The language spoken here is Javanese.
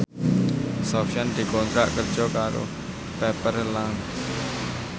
Sofyan dikontrak kerja karo Pepper Lunch